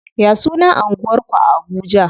Ya sunan anguwar ku a Abuja?